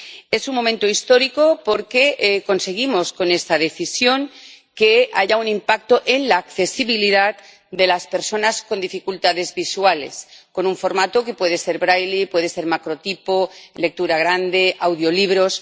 Es un momento histórico porque conseguimos con esta decisión que haya un impacto en la accesibilidad de las personas con dificultades visuales, con un formato que puede ser braille, puede ser macrotipo, lectura grande, audiolibros...